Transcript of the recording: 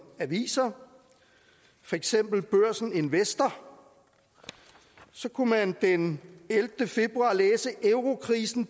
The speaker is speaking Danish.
aviser for eksempel børsen investor den ellevte februar kunne læse at eurokrisen